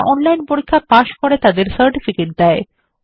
যারা অনলাইন পরীক্ষা পাস করে তাদের সার্টিফিকেট দেয়